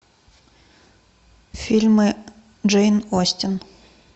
фильмы джейн остин